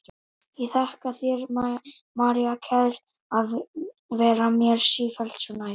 Ég þakka þér, María kær, að vera mér sífellt svo nær.